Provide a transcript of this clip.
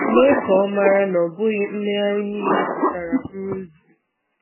Mee ka Ọ mara na ọ bụghị mmegharị niile pụtara nrụzu.